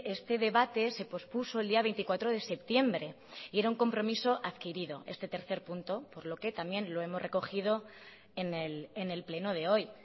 este debate se pospuso el día veinticuatro de septiembre y era un compromiso adquirido este tercer punto por lo que también lo hemos recogido en el pleno de hoy